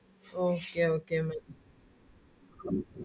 Okay okay Mana